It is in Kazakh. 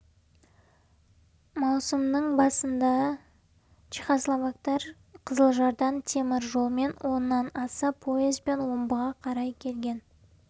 маусымның басында чехословактар қызылжардан темір жолмен оннан аса поезбен омбыға қарай келген